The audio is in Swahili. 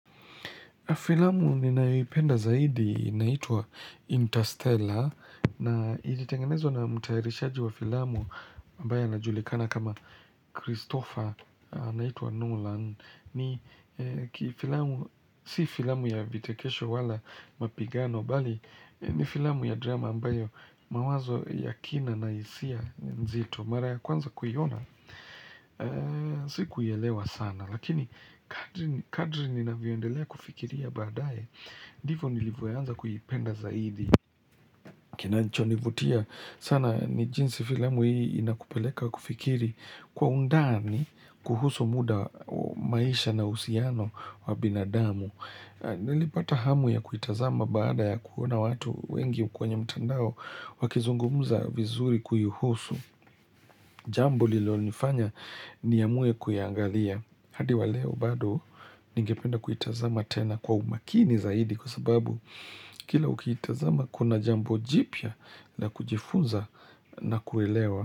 Filamu ninayoipenda zaidi inaitwa Interstellar na ilitengenezwa na mutayarishaji wa filamu ambaye ana julikana kama Christopher naitua Nolan ni filamu si filamu ya vitekesho wala mapigano bali ni filamu ya drama ambayo mawazo yakina na hisia nzito mara ya kwanza kuiona siku ielewa sana lakini kadri ninavyoendelea kufikiria baadaye ndivo nilivyoanza kuipenda zaidi kinacho nivutia sana ni jinsi filamu hii inakupeleka kufikiri kwa undani kuhusu muda maisha na uhusiano wa binadamu nilipata hamu ya kuitazama baada ya kuona watu wengi kwenye mtandao wakizungumuza vizuri kuihusu Jambo lililo nifanya niamue kuiangalia. Hadi waleo bado ningependa kuitazama tena kwa umakini zaidi kwa sababu kila ukiitazama kuna jambo jipya la kujifunza na kuelewa.